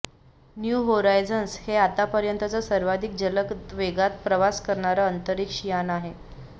new Horizons हे आतापर्यंतचं सर्वाधिक जलद वेगात प्रवास करणारं अंतरिक्ष यान आहे